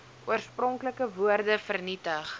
oorspronklike woorde vernietig